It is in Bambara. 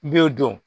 I b'o dɔn